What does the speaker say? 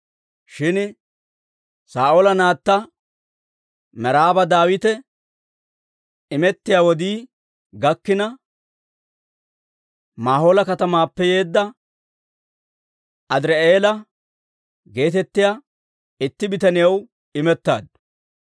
Shin Saa'oola naatta Meraaba Daawitaw imettiyaa wodii gakkina, Mahoola katamaappe yeedda, Adirii'eela geetettiyaa itti bitaniyaw imettaaddu.